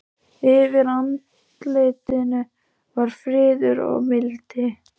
Yfir andlitinu var friður og mildi.